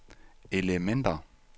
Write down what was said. elementer